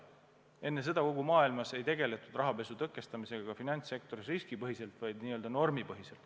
Enne seda kogu maailmas ei tegeletud rahapesu tõkestamisega finantssektoris riskipõhiselt, vaid n-ö normipõhiselt.